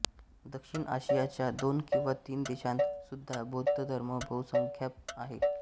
दक्षिण आशियाच्या दोन किंवा तीन देशांत सुद्धा बौद्ध धर्म बहुसंख्याक आहे